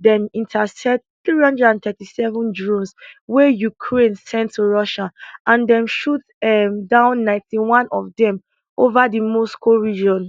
dem intercept three hundred and thirty three drones wey ukraine send to russia and dem shoot um down ninety one of dem ova di moscow region